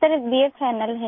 sir बा final है